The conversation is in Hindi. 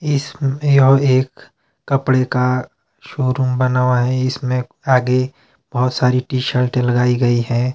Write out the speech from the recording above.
इसमें और एक कपड़े का शोरूम बना हुआ है इसमें आगे बहुत सारी टी शर्ट लगाई गई हैं।